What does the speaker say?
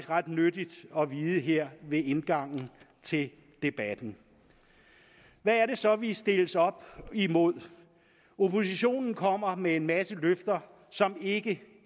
ret nyttigt at vide her ved indgangen til debatten hvad er det så vi stilles op imod oppositionen kommer med en masse løfter som ikke